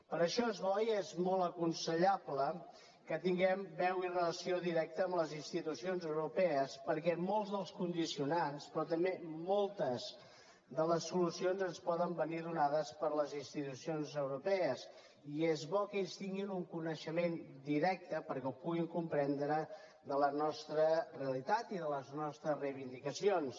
per això és bo i és molt aconsellable que tinguem veu i relació directa amb les institucions europees perquè molts dels condicionants però també moltes de les solucions ens poden venir donades per les institucions europees i és bo que ells tinguin un coneixement directe perquè ho puguin comprendre de la nostra realitat i de les nostres reivindicacions